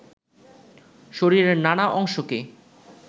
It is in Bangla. শরীরের নানা অংশকে